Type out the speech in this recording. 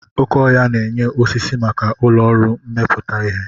Oké ọhia na-enye osisi maka ụlọ ọrụ mmepụta ihe.